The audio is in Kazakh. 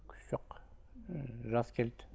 күш жоқ ыыы жас келді